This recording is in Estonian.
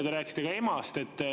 Ja te rääkisite ka emast.